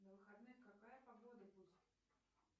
на выходных какая погода будет